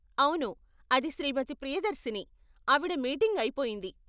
అవును, అది శ్రీమతి ప్రియదర్శిని, ఆవిడ మీటింగ్ అయిపొయింది.